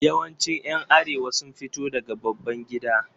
Yawancin ’yan Arewa sun fito daga babban gida.